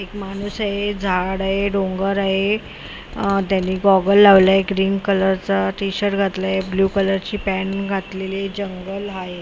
एक माणूस आहे झाड आहे डोंगर आहे त्यांनी गॉगल लावलाय ग्रीन कलर चा टी_शर्ट घातलाय ब्ल्यू कलर ची पॅन्ट घातलेली आहे जंगल आहे.